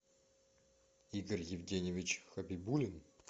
игорь евгеньевич хабибулин